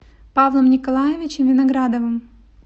павлом николаевичем виноградовым